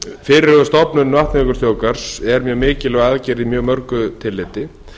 fyrirhuguð stofnun vatnajökulsþjóðgarðs er mjög mikilvæg í mjög mörgu tilliti